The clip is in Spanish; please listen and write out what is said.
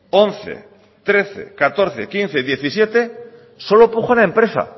once trece catorce quince y diecisiete solo puja una empresa